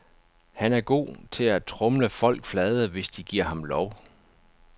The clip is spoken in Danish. Han er god til at tromle folk flade, hvis de giver ham lov.